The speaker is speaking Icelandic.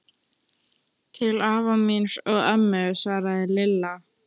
Til afa míns og ömmu svaraði Lilla.